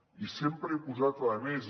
i sempre he posat a més